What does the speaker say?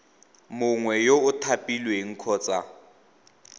mongwe yo o thapilweng kgotsa